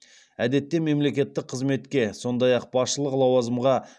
әдетте мемлекеттік қызметке сондай ақ басшылық лауазымға